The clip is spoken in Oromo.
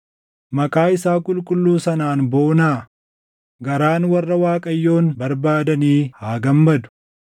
Maqaa isaa qulqulluu sanaan boonaa; garaan warra Waaqayyoon barbaadanii haa gammadu.